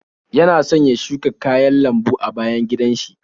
Yana son ya shuka kayan lambu a bayan gidan shi.